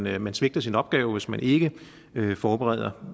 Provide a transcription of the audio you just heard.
at man svigter sin opgave hvis man ikke forbereder